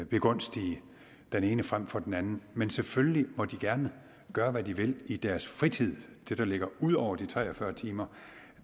begunstige den ene frem for den anden men selvfølgelig må de gerne gøre hvad de vil i deres fritid det der ligger ud over de tre og fyrre timer